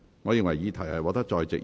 我宣布議案獲得通過。